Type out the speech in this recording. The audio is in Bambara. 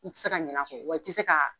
I tɛ se ka ɲin'a kɔ wa i tɛ se ka